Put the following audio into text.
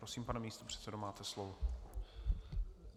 Prosím, pane místopředsedo, máte slovo.